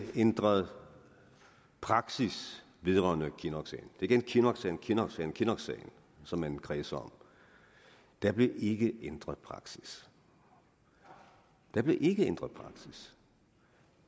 ændret praksis vedrørende kinnocksagen er igen kinnocksagen kinnocksagen kinnocksagen som man kredser om der blev ikke ændret praksis der blev ikke ændret praksis